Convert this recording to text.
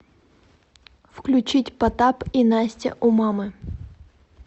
включить потап и настя умамы